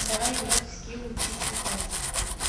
давай играть в скилл учись летать